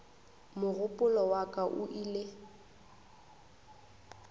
mogopolo wa ka o ile